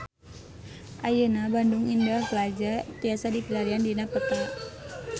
Ayeuna Bandung Indah Plaza tiasa dipilarian dina peta